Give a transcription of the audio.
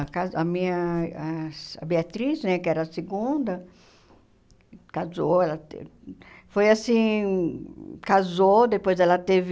a casa a minha ah... A Beatriz né, que era a segunda, casou, ela teve... Foi assim... Casou, depois ela teve...